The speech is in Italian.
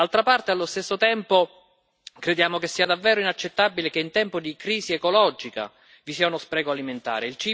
D'altra parte, allo stesso tempo, crediamo che sia davvero inaccettabile che in tempi di crisi ecologica vi sia uno spreco alimentare